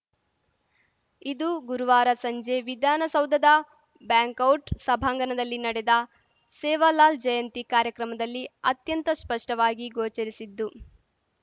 ಇದು ಗುರುವಾರ ಸಂಜೆ ವಿಧಾನಸೌಧದ ಬ್ಯಾಂಕೌಟ್‌ ಸಭಾಂಗಣದಲ್ಲಿ ನಡೆದ ಸೇವಾಲಾಲ್‌ ಜಯಂತಿ ಕಾರ್ಯಕ್ರಮದಲ್ಲಿ ಅತ್ಯಂತ ಸ್ಪಷ್ಟವಾಗಿ ಗೋಚರಿಸಿದ್ದು